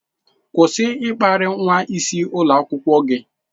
Kwụsị ịkparị nwa isi ulo akwukwo gi!